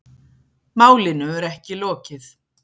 Málinu er ekki lokið